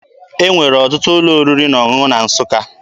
E nwere ọtụtụ ụlọ oriri na ọṅụṅụ na Nsụka.